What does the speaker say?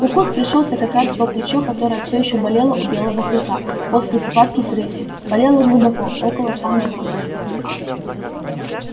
укус пришёлся как раз в то плечо которое всё ещё болело у белого клыка после схватки с рысью болело глубоко около самой кости